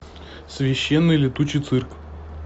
священный летучий цирк